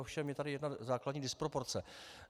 Ovšem je tady jedna základní disproporce.